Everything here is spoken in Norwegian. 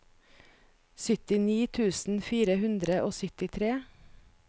syttini tusen fire hundre og syttitre